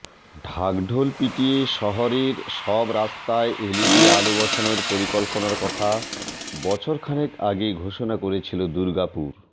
ঢাকঢোল পিটিয়ে শহরের সব রাস্তায় এলইডি আলো বসানোর পরিকল্পনার কথা বছরখানেক আগে ঘোষণা করেছিল দুর্গাপুর